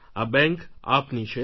આ બેન્ક આપની છે